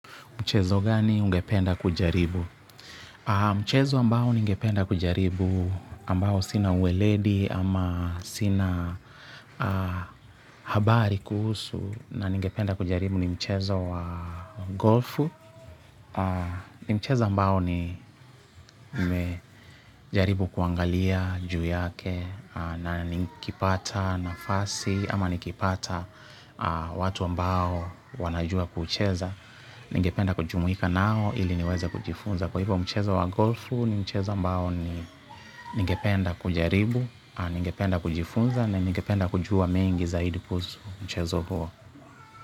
Mchezo gani ungependa kujaribu? Mchezo ambao ningependa kujaribu ambao sina uweledi ama sina habari kuhusu na ningependa kujaribu ni mchezo wa golfu. Mchezo ambao nimejaribu kuangalia ju yake na nikipata nafasi ama nikipata watu ambao wanajua kucheza. Ningependa kujumuika nao ili niweze kujifunza kwa hivyo mchezo wa golfu ni mchezo ambao ni ningependa kujaribu, ningependa kujifunza ne ningependa kujua mengi zaidi kuhusu mchezo huo.